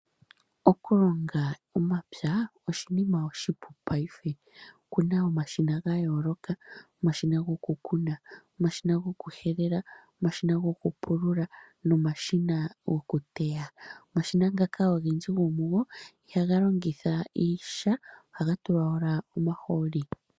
Okulonga omapya oshinima oshipu payife okuna omashina gayoolokaokuna omashina gokuna, omashina gokuhelela, omashina goku pulula nomashina gokuteya. Omashina ngaka ihaga longitha sha ohaga longitha omahooli.